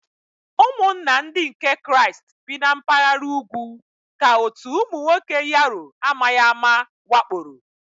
Ụmụnna Ndị nke Kraịst bi na mpaghara ugwu ka otu ụmụ nwoke Yaro amaghị ama wakporo.